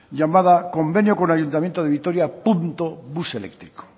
llamada convenio con ayuntamiento de vitoria bus eléctrico